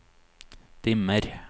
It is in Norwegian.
dimmer